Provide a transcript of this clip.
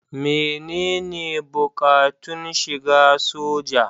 Menene buƙatun shiga soja?